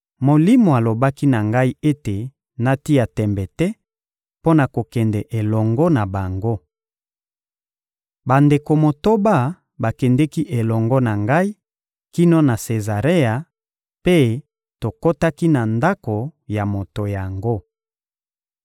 Molimo alobaki na ngai ete natia tembe te mpo na kokende elongo na bango. Bandeko motoba bakendeki elongo na ngai kino na Sezarea, mpe tokotaki na ndako ya moto yango.